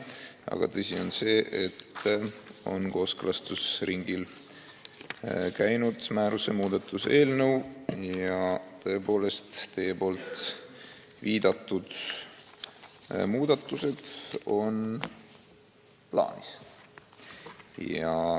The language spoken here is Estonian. Aga tõsi on see, et määruse muudatuse eelnõu on kooskõlastusringil käinud ja teie poolt viidatud muudatused on tõesti plaanis.